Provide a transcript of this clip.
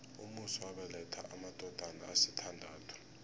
umusi wabeletha amadodana asithandathu